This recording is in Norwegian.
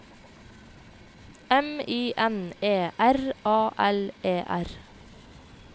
M I N E R A L E R